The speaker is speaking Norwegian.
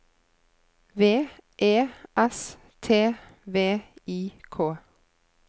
V E S T V I K